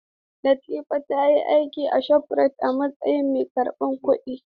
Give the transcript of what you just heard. Latifa ta yi aiki a Shofrayit a matsayin mai karbar kuɗi.